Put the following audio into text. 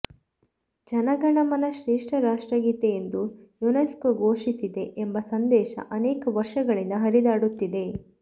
ಜನಗಣಮನ ಶ್ರೇಷ್ಠ ರಾಷ್ಟ್ರಗೀತೆ ಎಂದು ಯುನೆಸ್ಕೋ ಘೋಷಿಸಿದೆ ಎಂಬ ಸಂದೇಶ ಅನೇಕ ವರ್ಷಗಳಿಂದ ಹರಿದಾಡುತ್ತಿದೆ